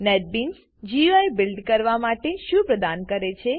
NetBeans GUI build કરવા માટે શું પ્રદાન કરે છે